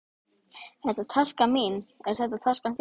Þetta er taskan mín. Er þetta taskan þín?